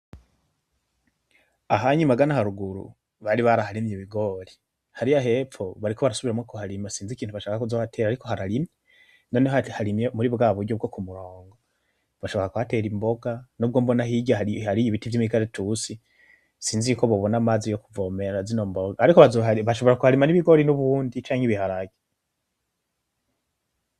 Aha'nya mangana haruguru, bari baraharimye ibigori, harirya hepfo bariko barasubiramwo kuharima sinzi ikintu bashaka kuzohatera ariko harimye, noneho harimye muri bwaburyo bwokumurongo, bashobora kuhatera imboga nubwo mbona hirya hari ibiti vyimikaratusi sinzi yuko bobona amazi yokuvomera zino mboga. Ariko bazoharima bashobora kuharima nibigori nubundi canke ibiharage.